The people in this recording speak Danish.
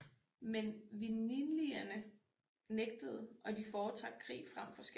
Men winnilierne nægtede og de fortrak krig frem for skat